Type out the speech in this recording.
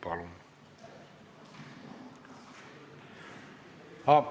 Palun!